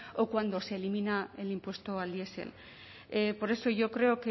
o cuando se elimina el impuesto al diesel por eso yo creo